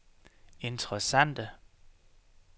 interessante